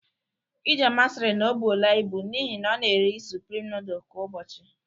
Ijeoma siri na ọ bụola ibụ n'ihi na ọ na-eri Sụprịm nooduls kwa ụbọchị